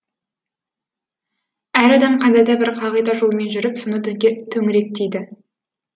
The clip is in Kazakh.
әр адам қандай да бір қағида жолымен жүріп соны төңіректейді